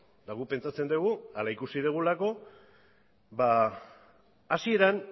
eta guk pentsatzen dugu hala ikusi dugulako hasieran